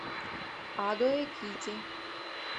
адо экити